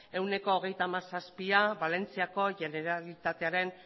ehuneko hogeita hamazazpia valentziako generalitatearen